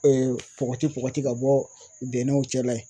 pɔgɔti pɔgɔti ka bɔ bɛnɛw cɛla.